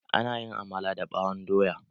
Ana yin amala da ɓawon doya.